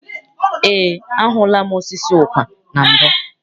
Eé, ahụla m osisi ụkwa na mbụ.